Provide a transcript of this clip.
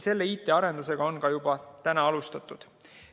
Selle IT‑arendusega on juba alustatud.